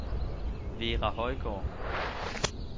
Vera Højgaard